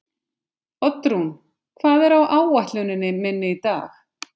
Oddrún, hvað er á áætluninni minni í dag?